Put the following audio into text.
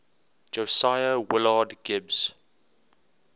josiah willard gibbs